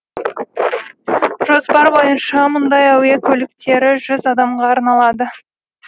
жоспар бойынша мұндай әуе көліктері жүз адамға арналады